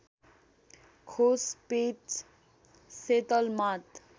खोज space settlement